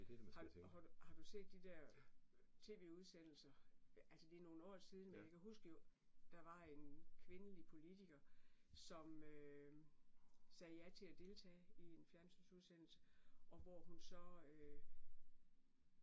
Har har du har du set de der TV-udsendelser, altså det nogle år siden, men jeg kan huske jo, der var en kvindelig politker, som øh sagde ja til at deltage i en fjernsynsudsendelse, og hvor hun så øh